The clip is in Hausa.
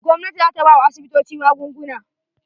Gwamnati za ta bawa asibitoci magunguna.